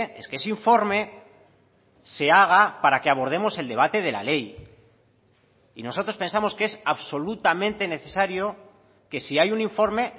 es que ese informe se haga para que abordemos el debate de la ley y nosotros pensamos que es absolutamente necesario que si hay un informe